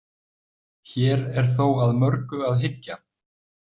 Hér er þó að mörgu að hyggja.